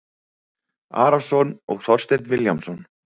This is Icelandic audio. Arason og Þorstein Vilhjálmsson